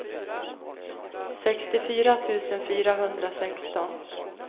sextiofyra tusen fyrahundrasexton